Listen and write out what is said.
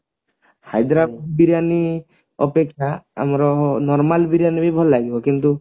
ହାଇଦ୍ରାବାଦୀ ବିରିୟାନୀ ଅପେକ୍ଷା ଆମର normal ବିରିୟାନୀ ବି ଭଲ ଲାଗିବ କିନ୍ତୁ